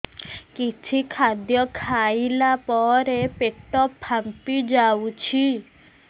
କିଛି ଖାଦ୍ୟ ଖାଇଲା ପରେ ପେଟ ଫାମ୍ପି ଯାଉଛି